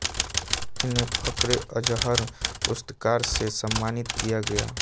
इन्हें फखरे अज़हर पुुु्स्सकाार से सम्मममानित किया गया